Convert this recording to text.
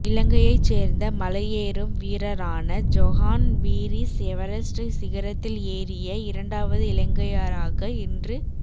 இலங்கையைச் சேர்ந்த மலையேறும் வீரரான ஜொஹான் பீரிஸ் எவரஸ்ட் சிகரத்தில் ஏறிய இரண்டாவது இலங்கையராக இன்று